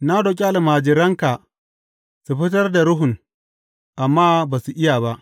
Na roƙi almajiranka su fitar da ruhun, amma ba su iya ba.